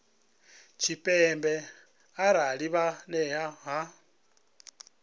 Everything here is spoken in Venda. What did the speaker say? tshipembe arali vha nnḓa ha